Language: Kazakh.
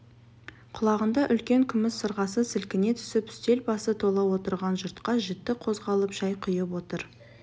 құлағында үлкен күміс сырғасы сілкіне түсіп үстел басы тола отырған жұртқа жіті қозғалып шай құйып отыр